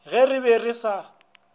ge re be re sa